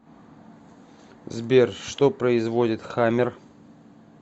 сбер что производит хаммер